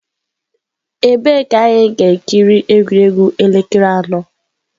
Ebee ka anyị ga-ekiri egwuregwu elekere anọ.